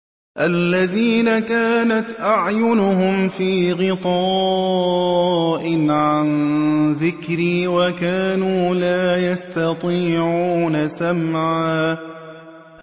الَّذِينَ كَانَتْ أَعْيُنُهُمْ فِي غِطَاءٍ عَن ذِكْرِي وَكَانُوا لَا يَسْتَطِيعُونَ سَمْعًا